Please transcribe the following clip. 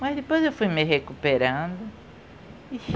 Mas depois eu fui me recuperando e